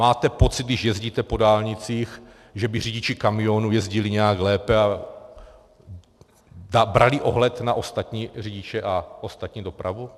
Máte pocit, když jezdíte po dálnicích, že by řidiči kamionů jezdili nějak lépe a brali ohled na ostatní řidiče a ostatní dopravu?